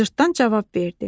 Cırtdan cavab verdi: